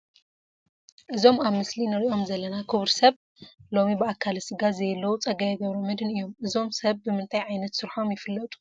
እዞም ኣብ ምስሊ ንሪኦም ዘለና ክቡር ሰብ ሎሚ ብኣካለ ስጋ ዘየለዉ ፀጋዪ ገብረመድህን እዮም፡፡ እዞም ሰብ ብምንታይ ዓይነት ስርሖም ይፍለጡ?